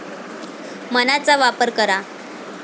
मनाचा वापर करा